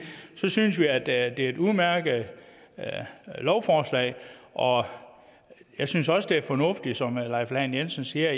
synes vi at det er et udmærket lovforslag og jeg synes også at det er fornuftigt som herre leif lahn jensen siger